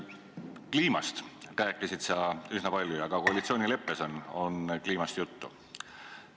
Kliimast rääkisid sa üsna palju ja ka koalitsioonileppes on kliimast juttu.